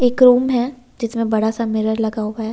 एक रूम है जिसमें बड़ा सा मिरर लगा हुआ है।